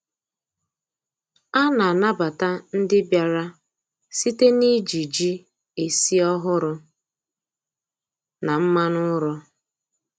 A na-anabata ndị bịara site n’iji ji esi ọhụrụ na mmanụ ụrọ.